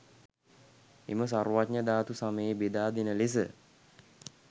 එම සර්වඥධාතු සමසේ බෙදා දෙන ලෙස